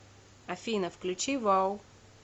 афина включи вау